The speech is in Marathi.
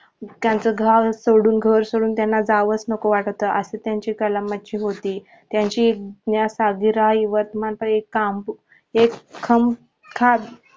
त्यांच गाव सोडून घर सोडून त्यांना जावंच नको वाटत होते असं त्यांचा कलामाची होती त्यांची एक सदिरा वर्तमान काम हेच एक खं खात